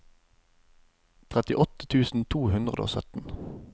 trettiåtte tusen to hundre og sytten